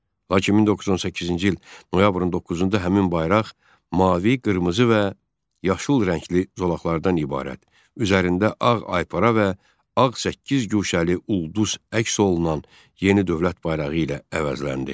Lakin 1918-ci il noyabrın 9-da həmin bayraq mavi, qırmızı və yaşıl rəngli zolaqlardan ibarət üzərində ağ aypara və ağ səkkizguşəli ulduz əks olunan yeni dövlət bayrağı ilə əvəzləndi.